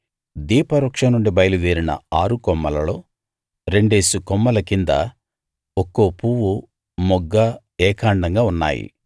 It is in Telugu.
దీపవృక్షం నుండి బయలు దేరిన ఆరు కొమ్మలలో రెండేసి కొమ్మల కింద ఒక్కో పువ్వు మొగ్గ ఏకాండంగా ఉన్నాయి